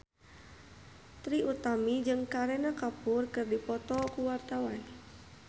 Trie Utami jeung Kareena Kapoor keur dipoto ku wartawan